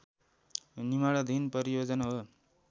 निर्माणाधीन परियोजना हो